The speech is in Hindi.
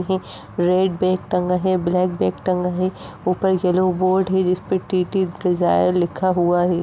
रेड बेग टंगा है ब्लैक बैग टंगा है ऊपर येलो बोर्ड है जिसपे टीटी डिजायर लिखा हुआ है।